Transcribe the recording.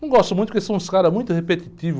Não gosto muito porque são uns caras muito repetitivos.